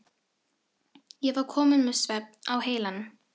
Ég var kominn með svefn á heilann.